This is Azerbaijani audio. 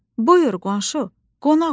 Buyur, qonşu, qonaq ol.